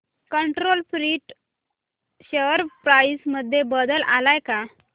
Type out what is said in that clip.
control print share price मध्ये बदल आलाय का